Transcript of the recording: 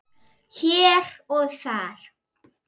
Hér og þar.